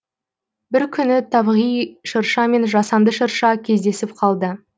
бір күні табиғи шырша мен жасанды шырша кездесіп қалды